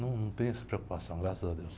Num, não tenho essa preocupação, graças a Deus.